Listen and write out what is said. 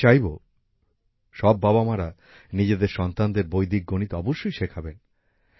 আমি চাইব সব বাবা মারা নিজেদের সন্তানদের বৈদিক গণিত অবশ্যই শেখাবেন